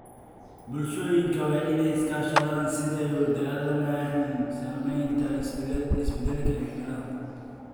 Bulshooyinka waa in ay iska kaashadaan sidii ay ula dagaallami lahaayeen saamaynta isbeddelka cimilada.